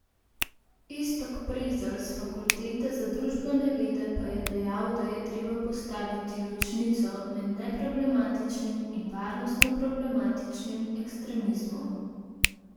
Iztok Prezelj s Fakultete za družbene vede pa je dejal, da je treba postaviti ločnico med neproblematičnim in varnostno problematičnim ekstremizmom.